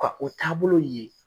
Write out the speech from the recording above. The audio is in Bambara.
Ka o taabolo ye.